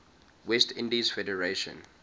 west indies federation